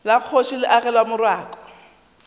la kgoši le agelwa morako